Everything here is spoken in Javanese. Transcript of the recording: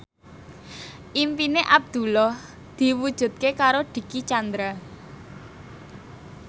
impine Abdullah diwujudke karo Dicky Chandra